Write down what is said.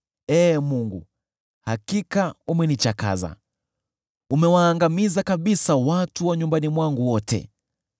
Ee Mungu, hakika umenichakaza; umewaangamiza kabisa watu wa nyumbani mwangu wote.